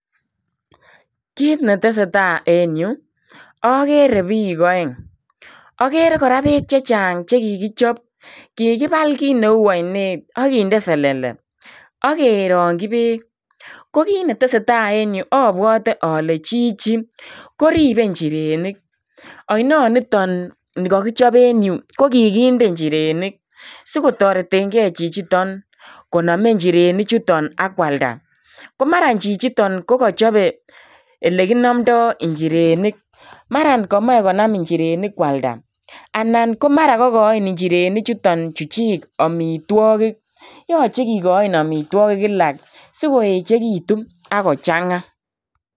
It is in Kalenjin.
Kiy netesetai en yu, okere biik oeng' okere kora beek chechang' chekikichob . Kikibal kineu oinet ak kinde selele ak kerokyi beek kokit netesetai en yu obwote ole chichi koribe njirenik oinoniton nikokichob en yu kokikinde njirenik sikotoretengei chichiton konome njirenik chuton ak kualda. Komara chichiton kokochobe ilekinomdo njirenik mara komoche konam njirenik kualda anan komara kokochin njirenichuton chuchik omitwogik. Yoche kikoin omitwogik kila sikoechekitun ak kochang'a.